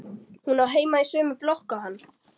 Hún á heima í sömu blokk og hann.